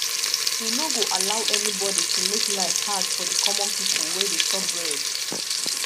we no go allow anybody to make life hard for di common pipo wey dey chop bread